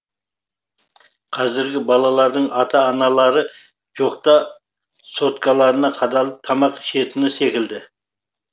қазіргі балалардың ата аналары жоқта соткаларына қадалып тамақ ішетіні секілді